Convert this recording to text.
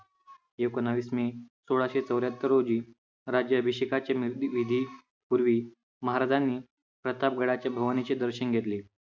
एकोणवीस मे सोळाशे चौऱ्याहत्तर रोजी राज्याभिषेकाच्या विधी पूर्वी महाराजांनी प्रतापगडाच्या भवानीचे दर्शन घेतले.